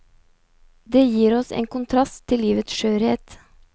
Det gir oss en kontrast til livets skjørhet.